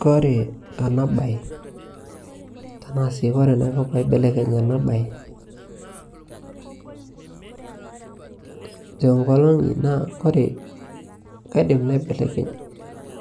kore ana bai tanaa sii kore naiko panaibelekeny tenkolong'i naa kore kaidim naibelekeny